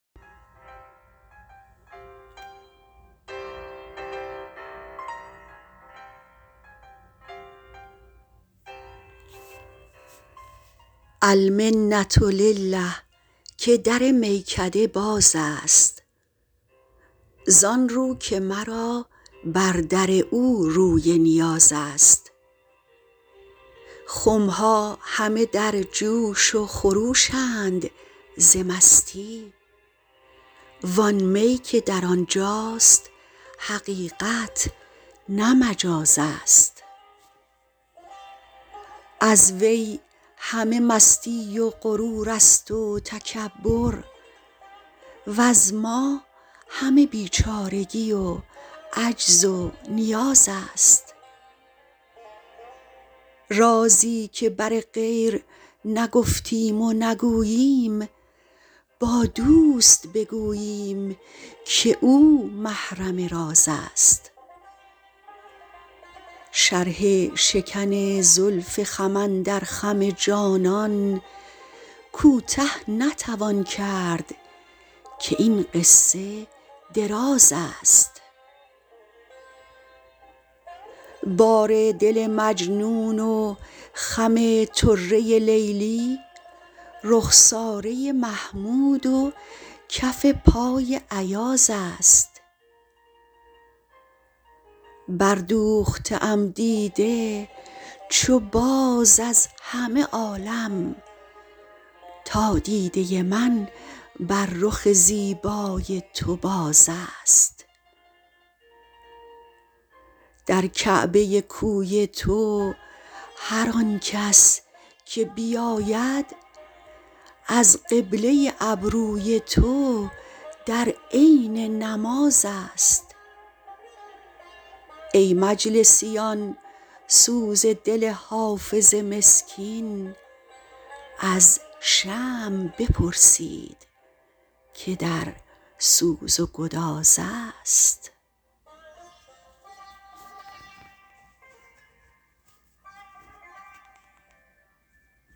المنة لله که در میکده باز است زان رو که مرا بر در او روی نیاز است خم ها همه در جوش و خروش اند ز مستی وان می که در آن جاست حقیقت نه مجاز است از وی همه مستی و غرور است و تکبر وز ما همه بیچارگی و عجز و نیاز است رازی که بر غیر نگفتیم و نگوییم با دوست بگوییم که او محرم راز است شرح شکن زلف خم اندر خم جانان کوته نتوان کرد که این قصه دراز است بار دل مجنون و خم طره لیلی رخساره محمود و کف پای ایاز است بردوخته ام دیده چو باز از همه عالم تا دیده من بر رخ زیبای تو باز است در کعبه کوی تو هر آن کس که بیاید از قبله ابروی تو در عین نماز است ای مجلسیان سوز دل حافظ مسکین از شمع بپرسید که در سوز و گداز است